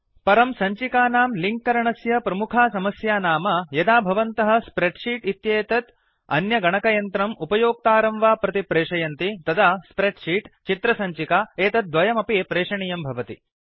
परं सञ्चिकानां लिंक् करणस्य प्रमुखा समस्या नाम यदा भवन्तः स्प्रेड् शीट् इत्येतत् अन्यगणकयन्त्रम् उपयोक्तारं वा प्रति प्रेशयन्ति तदा स्प्रेड् शीट् चित्रसञ्चिका एतद्वयमपि प्रेषणीयं भवति